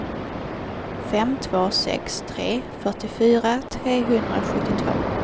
fem två sex tre fyrtiofyra trehundrasjuttiotvå